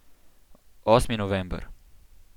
Osmi november.